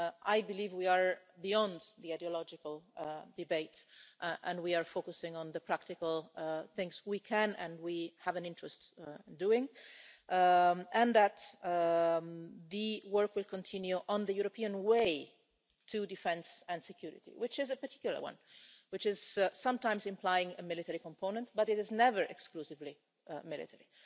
I believe we are beyond the ideological debate and we are focusing on the practical things we can and we have an interest in doing, and that the work will continue on the European way to defence and security, which is a particular one and which sometimes implies a military component but is never exclusively military.